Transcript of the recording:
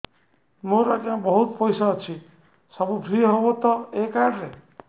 ମୋର ଆଜ୍ଞା ବହୁତ ପଇସା ଅଛି ସବୁ ଫ୍ରି ହବ ତ ଏ କାର୍ଡ ରେ